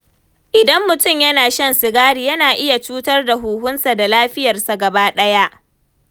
Idan mutum yana shan sigari, yana iya cutar da huhunsa da lafiyarsa gabaɗaya.